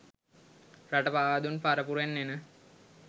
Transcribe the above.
රට පාවා දුන් පරපුරෙන් එන